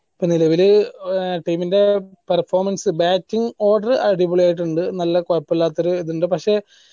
നിലവിൽ team ന്റെ performance bating order അടിപൊളി ആയിട്ട് ഉണ്ട് നല്ല കൊയപ്പില്ലാത്തൊരു ഇത് ഇണ്ട് പക്ഷെ